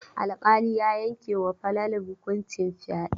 Alƙali ya yanke ma Falalu hukuncin fyaɗe.